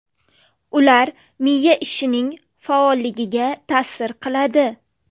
Ular miya ishining faolligiga ta’sir qiladi.